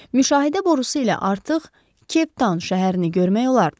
Müşahidə borusu ilə artıq Keptan şəhərini görmək olardı.